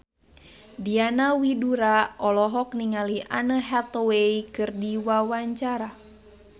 Diana Widoera olohok ningali Anne Hathaway keur diwawancara